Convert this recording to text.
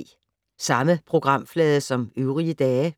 Samme programflade som øvrige dage